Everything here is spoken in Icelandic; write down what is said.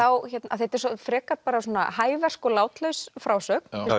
því þetta er frekar hæversk og látlaus frásögn